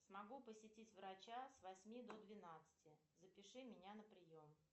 смогу посетить врача с восьми до двенадцати запиши меня на прием